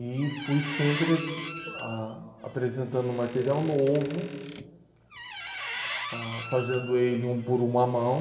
E fui sempre ah... apresentando material novo, ah, fazendo ele um por uma mão.